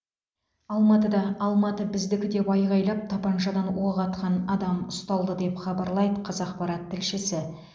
алматыда алматы біздікі деп айғайлап тапаншадан оқ атқан адам деп хабарлайды қазақпарат тілшісі